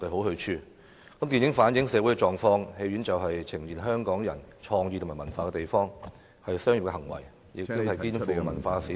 電影能夠反映社會狀況，電影院更是呈現香港人的創意和文化的地方，經營電影院屬於商業行為，亦肩負文化使命......